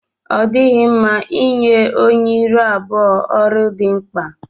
Ọ dịghị mma ịnye onye ịrụ abụọ ọrụ dị mkpa.